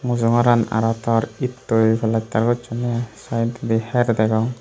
mujongoran aroh tor ettoi plaster gocchun ney i side odi her degong.